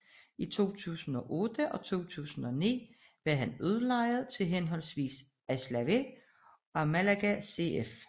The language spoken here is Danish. I 2008 og 2009 var han udlejet til henholdsvis Alavés og Málaga CF